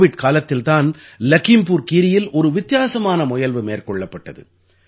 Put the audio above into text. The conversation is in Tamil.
கோவிட் காலத்தில் தான் லகீம்புர் கீரீயில் ஒரு வித்தியாசமான முயல்வு மேற்கொள்ளப்பட்டது